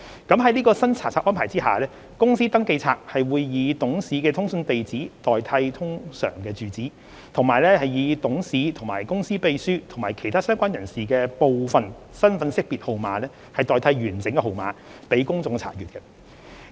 在新查冊安排下，公司登記冊會以董事的通訊地址代替通常住址，以及以董事、公司秘書及其他相關人士的部分身份識別號碼代替完整號碼，讓公眾查閱。